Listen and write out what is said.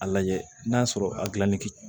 A lajɛ n'a sɔrɔ a gilanni